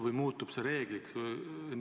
Või muutub see reegliks?